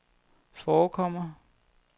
forekommer